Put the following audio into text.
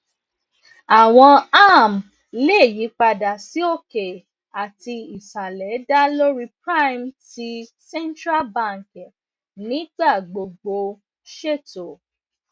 awọn arm le yipada si oke ati isalẹ da lori prime t central banki nigbagbogbo ṣeto